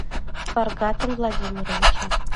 фаргатом владимировичем